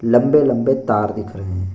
लंबे-लंबे तार दिख रहे है।